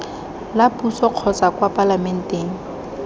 la puso kotsa kwa palamenteng